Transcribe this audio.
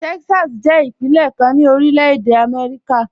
Texas jẹ ipinlẹ̀ kan ni Orílẹ̀-èdè Amẹ́ríkà.